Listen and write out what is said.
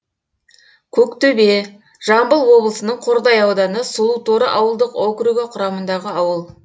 көктөбе жамбыл облысының қордай ауданы сұлуторы ауылдық округі құрамындағы ауыл